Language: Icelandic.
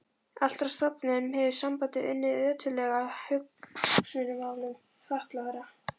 Allt frá stofnun hefur sambandið unnið ötullega að hagsmunamálum fatlaðra.